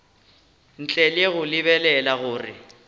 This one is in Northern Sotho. ntle le go lebelela gore